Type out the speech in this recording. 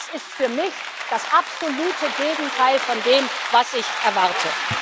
Das ist für mich das absolute Gegenteil von dem, was ich erwarte.